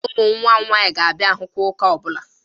Ụmụ nwa m nwaanyị na-abịa ahụ kwa ụka ọbụla.